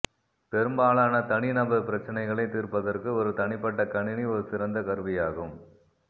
பெரும்பாலான தனிநபர் பிரச்சினைகளை தீர்ப்பதற்கு ஒரு தனிப்பட்ட கணினி ஒரு சிறந்த கருவியாகும்